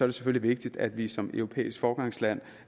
det selvfølgelig vigtigt at vi som et europæisk foregangsland